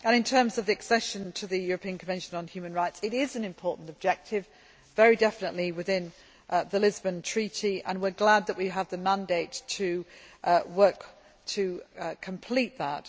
In terms of the accession to the European Convention on Human Rights, it is an important objective, very definitely within the Lisbon Treaty, and we are glad that we have the mandate to work to complete that.